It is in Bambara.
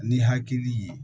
Ni hakili ye